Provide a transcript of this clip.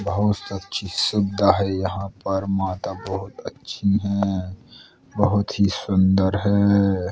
बहोत सच्ची श्रद्धा है यहाँ पर माता बहोत अच्छी हैं | बहोत ही सुन्दर है।